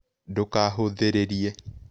Ndũkahũthĩrĩrĩe